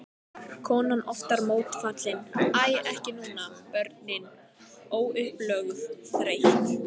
Konan oftar mótfallin, æ ekki núna, börnin, óupplögð, þreytt.